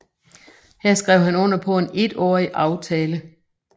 Her skrev han under på en etårig aftale